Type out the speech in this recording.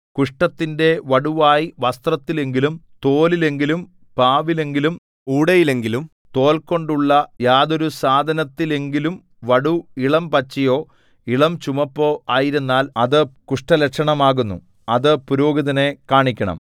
കുഷ്ഠത്തിന്റെ വടുവായി വസ്ത്രത്തിൽ എങ്കിലും തോലിലെങ്കിലും പാവിലെങ്കിലും ഊടയിലെങ്കിലും തോൽകൊണ്ടുള്ള യാതൊരു സാധനത്തിലെങ്കിലും വടു ഇളം പച്ചയോ ഇളം ചുവപ്പോ ആയിരുന്നാൽ അത് കുഷ്ഠലക്ഷണം ആകുന്നു അത് പുരോഹിതനെ കാണിക്കണം